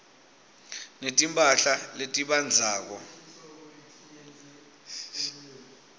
netimphahla letibandzako